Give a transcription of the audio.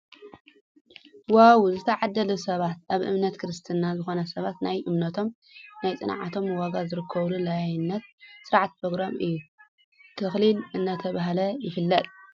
ዋው ዝተዓደሉ ሰባት ኣብ እምነት ክርስትና ዝኮኑ ሰባት ናይ እምነቶም ናይ ፅንዓቶም ዋጋ ዝረክቡሉ ላይነት ስርዓት ፕሮግራም እዩ። ተክሊል እናተባህለ ይፍለጥ።